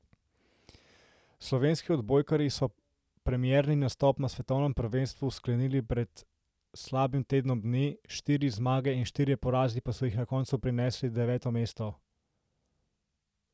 Slovenski odbojkarji so premierni nastop na svetovnem prvenstvu sklenili pred slabim tednom dni, štiri zmage in štirje porazi pa so jim na koncu prinesli deveto mesto.